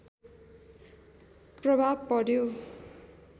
प्रभाव पर्‍यो